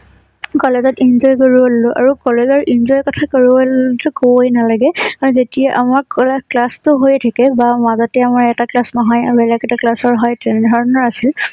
কলেজত enjoy কৰিব ললোঁ আৰু কলেজৰ enjoy ৰ কথা কবলৈ গলে কবয়ে নালাগে যেতিয়া আমাক কলে class টো হয়ে থাকে বা মাজতে আমাৰ এটা class নহয় আৰু বেলেগ এটা class ৰ হয় তেনেধৰণৰ আছিল।